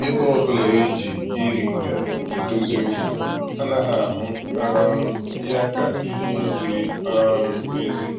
Ebe ọbụla e ji iri ngarị edozi okwu, anaghị ahụ um ya ka ihe ziri um ezi